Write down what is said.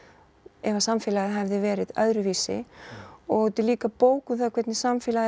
ef að samfélagið hefði verið öðruvísi og þetta er líka bók um það hvernig samfélagið